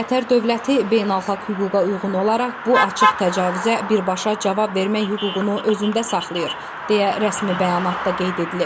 Qətər dövləti beynəlxalq hüquqa uyğun olaraq bu açıq təcavüzə birbaşa cavab vermək hüququnu özündə saxlayır, deyə rəsmi bəyanatda qeyd edilib.